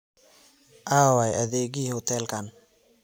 Aaway adeegihii hotelkan?